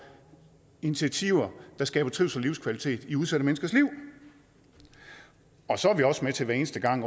initiativer der skaber trivsel og livskvalitet i udsatte menneskers liv og så er vi også med til hver eneste gang